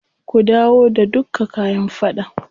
Ku dawo da dukka kayan faɗan.